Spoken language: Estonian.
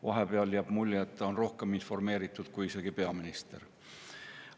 Vahepeal jääb mulje, et ta on isegi rohkem informeeritud kui peaminister.